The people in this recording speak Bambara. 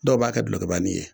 Dɔw b'a kɛ gulokibani ye